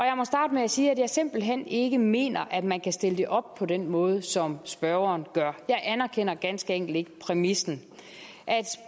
med at sige at jeg simpelt hen ikke mener at man kan stille det op på den måde som spørgeren gør jeg anerkender ganske enkelt ikke præmissen